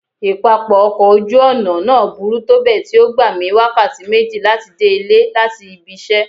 Ipapọ ọkọ oju-ọna naa buru tobẹẹ ti o gba mi wakati meji lati de ile lati ibi iṣẹ.